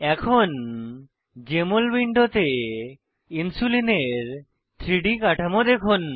এখন জেএমএল উইন্ডোতে ইনসুলিলের 3ডি কাঠামো দেখুন